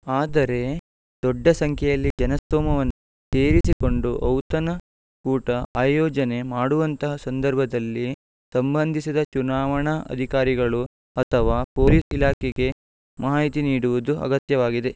ಆದರೆ ದೊಡ್ಡ ಸಂಖ್ಯೆಯಲ್ಲಿ ಜನಸ್ತೋಮವನ್ನು ಸೇರಿಸಿಕೊಂಡು ಔತನ ಕೂಟ ಆಯೋಜನೆ ಮಾಡುವಂತಹ ಸಂದರ್ಭದಲ್ಲಿ ಸಂಬಂಧಿಸಿದ ಚುನಾವಣಾ ಅಧಿಕಾರಿಗಳು ಅಥವಾ ಪೊಲೀಸ್ ಇಲಾಖೆಗೆ ಮಾಹಿತಿ ನೀಡುವುದು ಅಗತ್ಯವಾಗಿದೆ